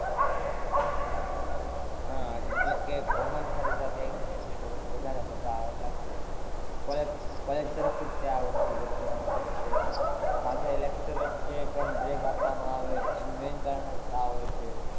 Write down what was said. હાં મતલબ કે ભણવાની સાથે સાથે entertainment હોય તો વધારે મજા આવે એટલા માટે college college તરફ થી જ આ વસ્તુ ગોઠવવામાં આવે છે, સાથે lecture વચ્ચે પણ break આપવામાં આવે એનું main કારણ જ આ હોય છે.